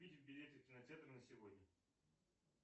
купить билеты в кинотеатр на сегодня